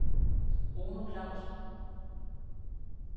Bruno Clausen